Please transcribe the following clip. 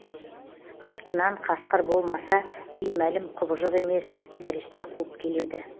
артынан қасқыр болмаса беймәлім құбыжық емес нәресте қуып келеді